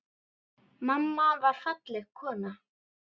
Mamma var falleg kona.